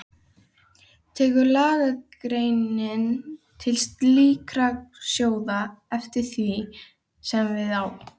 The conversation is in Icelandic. Tekur lagagreinin til slíkra sjóða eftir því sem við á.